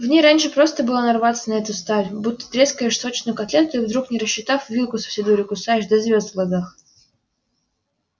в ней раньше просто было нарваться на эту сталь будто трескаешь сочную котлету и вдруг не рассчитав вилку со всей дури кусаешь до звёзд в глазах